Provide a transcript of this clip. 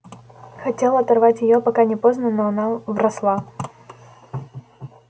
хотел оторвать её пока не поздно но она вросла